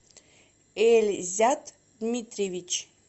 эльзят дмитриевич